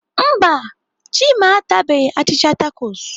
Mba, Chima atabeghị achịcha takos.